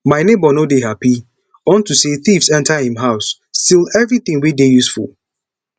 my neighbour no dey happy unto say thieves enter im house steal everything wey dey useful